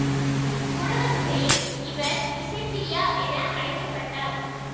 ஊடகத்துறையில் இவர் இசைப்பிரியா என அழைக்க பட்டார்